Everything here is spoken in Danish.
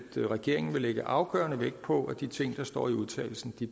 regeringen vil lægge afgørende vægt på at de ting der står i udtalelsen